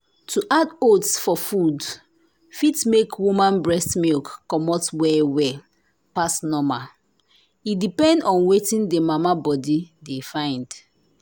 to add oats for food fit make woman breast milk comot well well pass normal. e depend on wetin the mama body de fyn.